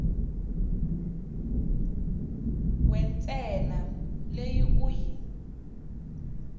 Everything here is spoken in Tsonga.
we ntsena leyi u yi